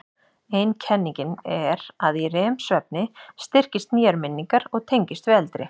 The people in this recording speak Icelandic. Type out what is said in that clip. Ein kenningin er að í REM-svefni styrkist nýjar minningar og tengist við eldri.